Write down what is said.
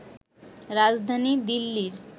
রাজধানী দিল্লির